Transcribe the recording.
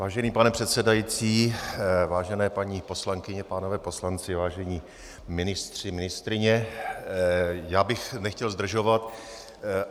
Vážený pane předsedající, vážené paní poslankyně, pánové poslanci, vážení ministři, ministryně, já bych nechtěl zdržovat.